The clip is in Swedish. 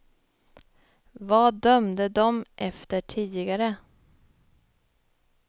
Vad dömde dom efter tidigare?